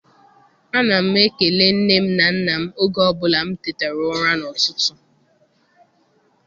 Ana m ekele nne m na nna m oge ọbụla m tetara ụra n'ụtụtụ.